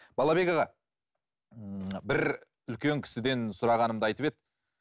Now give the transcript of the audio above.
балабек аға бір үлкен кісіден сұрағанымда айтып еді